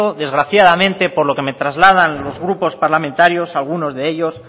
desgraciadamente por lo que me trasladan los grupos parlamentarios algunos de ellos